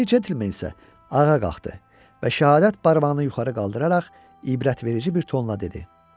Parikli centlmen isə ayağa qalxdı və şəhadət barmağını yuxarı qaldıraraq ibrətamiz bir tonla dedi: